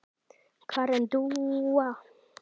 Karen Dúa.